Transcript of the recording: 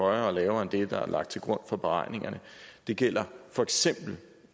højere og lavere end det der er lagt til grund for beregningerne det gælder for eksempel